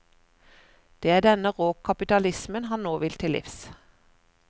Det er denne rå kapitalismen han nå vil til livs.